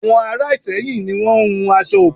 Àwon Ara Ìsẹ́yìn ni won n hun aṣọ òkè